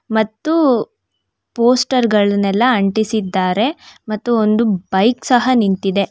ಮತ್ತು ಪೋಸ್ಟರ್ ಗಳನೆಲ್ಲ ಅಂಟಿಸಿದ್ದಾರೆ ಮತ್ತು ಒಂದು ಬೈಕ್ ಸಹ ನಿಂತಿದೆ.